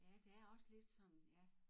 Ja det er også lidt sådan ja